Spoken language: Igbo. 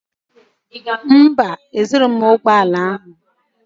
Mba, ezurughị m ụgbọ ala ya.